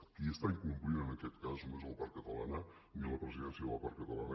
qui incompleix en aquest cas no és la part catalana ni la presidència de la part catalana